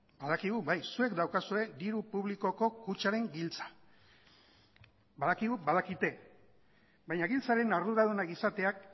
badakigu bai zuek daukazue diru publikoko kutxaren giltza badakigu badakite baina giltzaren arduradunak izateak